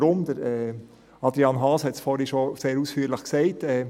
Weshalb? – Adrian Haas hat es vorhin bereits sehr ausführlich gesagt.